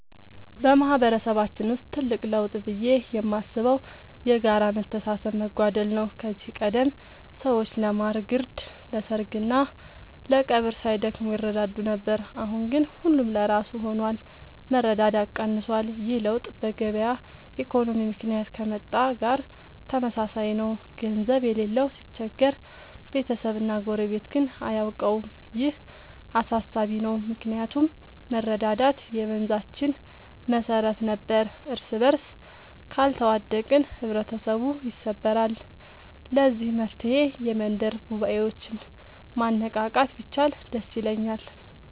በማህበረሰባችን ውስጥ ትልቅ ለውጥ ብዬ የማስበው የጋራ መተሳሰብ መጓደል ነው። ከዚህ ቀደም ሰዎች ለማር ግርድ፣ ለሰርግና ለቀብር ሳይደክሙ ይረዳዱ ነበር። አሁን ግን ሁሉም ለራሱ ሆኗል፤ መረዳዳት ቀንሷል። ይህ ለውጥ በገበያ ኢኮኖሚ ምክንያት ከመጣ ጋር ተመሳሳይ ነው፤ ገንዘብ የሌለው ሲቸገር ቤተሰብና ጎረቤት ግን አያውቀውም። ይህ አሳሳቢ ነው ምክንያቱም መረዳዳት የመንዛችን መሰረት ነበር። እርስበርስ ካልተዋደቅን ህብረተሰቡ ይሰበራል። ለዚህ መፍትሔ የመንደር ጉባኤዎችን ማነቃቃት ቢቻል ደስ ይለኛል።